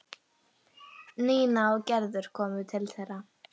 Nína og Gerður komu til þeirra.